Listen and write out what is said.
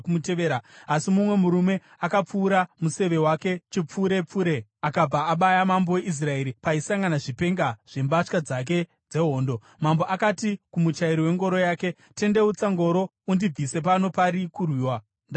Asi mumwe murume akapfura museve wake chipfurepfure akabva abaya mambo weIsraeri paisangana zvipenga zvembatya dzake dzehondo. Mambo akati kumuchairi wengoro yake, “Tendeutsa ngoro undibvise pano pari kurwiwa. Ndakuvadzwa.”